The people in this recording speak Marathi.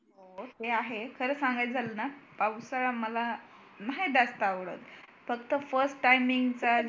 आह ते आहे खरं सांगायचं झालं ना पावसाळा मला नाय जास्त आवडत फक्त first timing अं